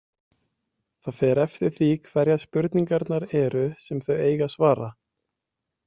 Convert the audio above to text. Það fer eftir því hverjar spurningarnar eru, sem þau eiga að svara.